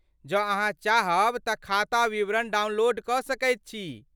जँ अहाँ चाहब तऽ खाता विवरण डाउनलोड कऽ सकैत छी।